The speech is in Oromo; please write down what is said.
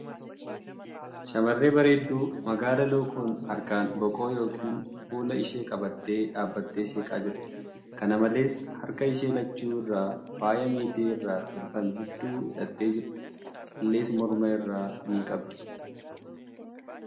Shamarree bareedduu magaala lookoon harkaan boqoo ykn fuula ishee qabattee dhaabbattee seeqaa jirti. Kana malees, harka ishee lachuu irraa faaya meetii irraa tolfame hedduu hidhattee jirti. Callees morma irraa ni qabdi.